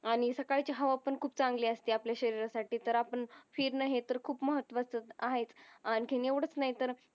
आणि सकाळची हवा पण खूप चांगली असते आपल्या शरीरासाठी तर आपण फिरणं हे तर खूप महत्वाचं आहेच आणखीण एवढंच नाही तर